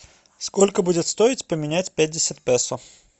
сколько будет стоить поменять пятьдесят песо